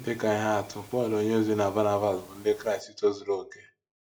Dị ka ihe atụ, Pọl onyeozi na Banabas bụ Ndị Kraịst tozuru okè.